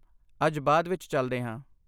ਅੱਜ ਬਾਅਦ ਵਿੱਚ ਚੱਲਦੇ ਹਾਂ